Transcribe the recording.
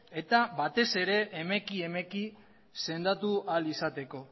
eta batez ere emeki emeki sendatu ahal izateko